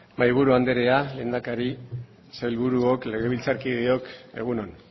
mahaiburu anderea lehendakari sailburuok legebiltzarkideok egun on